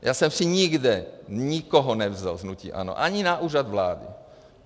Já jsem si nikde nikoho nevzal z hnutí ANO, ani na Úřad vlády.